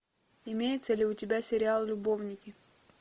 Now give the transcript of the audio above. имеется ли у тебя сериал любовники